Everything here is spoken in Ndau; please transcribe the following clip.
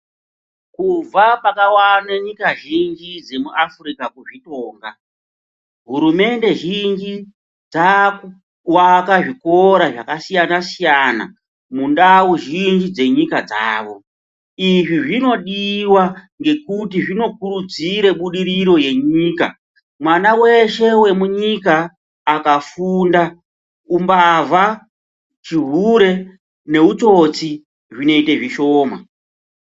Kubva pakawane nyika zhinji dzemuAfrica kuzvitonga, hurumende zhinji dzakuaka zvikora zvakasiyana -siyana mundau zhinji dzenyika dzavo, izvi zvinodiwa ngekuti zvinokurudzire budiriro yemunyika. Mwana weshe akafunda umbavha, chihure neutsotsi zvinoite zvishoma.